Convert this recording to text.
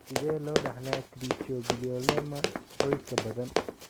Sidee loo dhaxlaa trichoepithelioma qoyska badan?